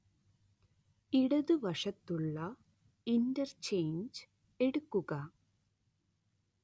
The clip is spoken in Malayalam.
ഇടതുവശത്തുള്ള ഇന്റർചെയ്ഞ്ച് എടുക്കുക